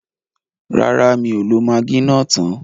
Rárá, mi ò lo magí náà tán.